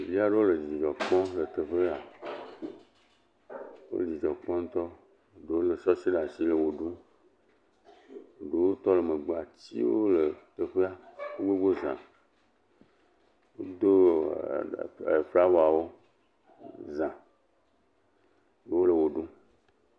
Ɖevi aɖewo le dzidzɔ kpɔm le teƒea, wo dzidzɔ kpɔm ŋutɔ, ɖewo lé sesi ɖe asi le ʋe ɖum, ɖewo tɔ ɖe megbea, atiwo le teƒea gbogbo za, wodo flawawo za, wole ʋe ɖum.